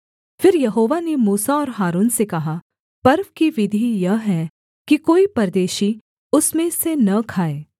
फिर यहोवा ने मूसा और हारून से कहा पर्व की विधि यह है कि कोई परदेशी उसमें से न खाए